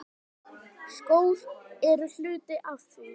Skór eru hluti af því.